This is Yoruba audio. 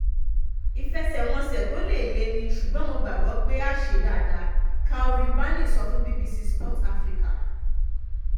ìfẹsẹ̀wọnsẹ̀ tó lè lè ní ṣùgbọ́n mo gbàgbọ́ pé a ṣe dáadáa calvin barney sọ fún bbc sport africa